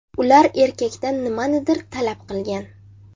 Ular erkakdan nimanidir talab qilgan.